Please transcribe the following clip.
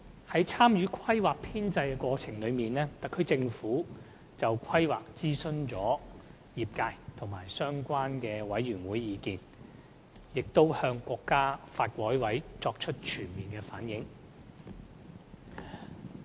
在參與《規劃》編製的過程中，特區政府就《規劃》徵詢了業界及相關委員會的意見，並已向國家發改委作出全面反映。